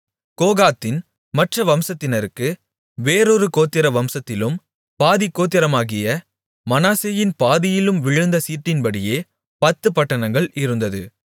கோகாத்தின் மற்ற வம்சத்தினருக்கு வேறொரு கோத்திர வம்சத்திலும் பாதிக் கோத்திரமாகிய மனாசேயின் பாதியிலும் விழுந்த சீட்டின்படியே பத்துப் பட்டணங்கள் இருந்தது